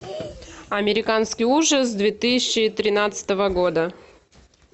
американский ужас две тысячи тринадцатого года